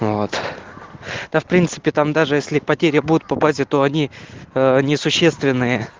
вот да в принципе там даже если потеря будет по базе то они не существенны